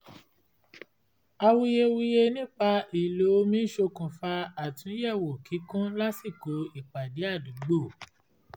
awuyewuye nípa ìlò òmi ṣokùnfà àtúnyẹ̀wò kíkún lásìkò ìpàdé àdúgbò